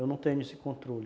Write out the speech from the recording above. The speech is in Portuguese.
Eu não tenho esse controle.